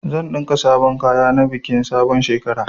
Zan ɗinka sabon kaya na bikin sabon shekara.